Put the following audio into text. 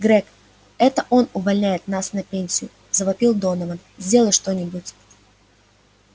грег это он увольняет нас на пенсию завопил донован сделай что-нибудь